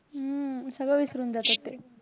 हम्म सगळं विसरून जातात ते.